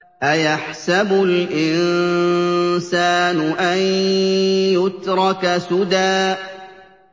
أَيَحْسَبُ الْإِنسَانُ أَن يُتْرَكَ سُدًى